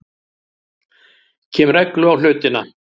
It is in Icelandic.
Kem reglu á hlutina.